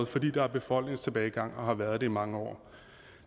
fordi der er befolkningstilbagegang og har været det i mange år